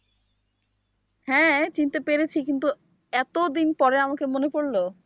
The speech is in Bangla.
হ্যাঁ চিনতে পেরেছি কিন্তু এতদিন পরে আমাকে মনে পড়ল?